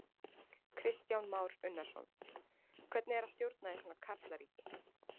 Kristján Már Unnarsson: Hvernig er að stjórna í svona karlaríki?